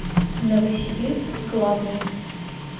новосибирск главный